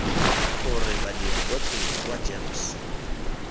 gore badiri botlhe kwa gems